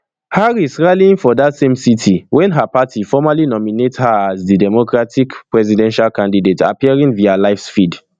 harris rallying for dat same city wen her party formally nominate her as di democratic presidential candidate appearing via live feed